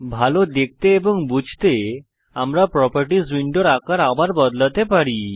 ভাল দেখতে এবং বুঝতে আমরা প্রোপার্টিস উইন্ডোর আকার আবার বদলাতে পারি